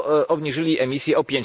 obniżyli emisje o